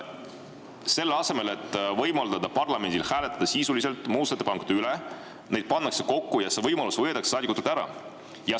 Selle asemel et võimaldada parlamendil hääletada sisuliste muudatusettepanekute üle, pannakse need kokku ja see võimalus võetakse saadikutelt ära.